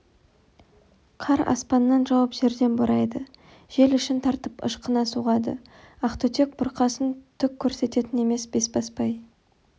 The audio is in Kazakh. қар аспаннан жауып жерден борайды жел ішін тартып ышқына соғады ақтүтек бұрқасын түк көрсететін емес бесбасбай